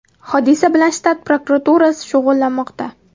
Hodisa bilan shtat prokuraturasi shug‘ullanmoqda.